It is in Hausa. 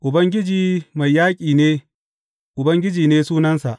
Ubangiji mai yaƙi ne Ubangiji ne sunansa.